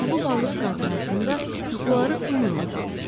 Ulu balıq qadın haqqında yuxuları onunla qalsın.